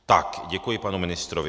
Tak děkuji panu ministrovi.